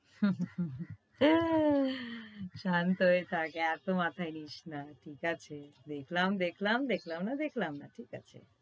শান্ত হয়ে থাক, এতো মাথায় নিস না। ঠিক আছে? দেখলাম দেখলাম, দেখলাম না দেখলাম না। ঠিক আছে?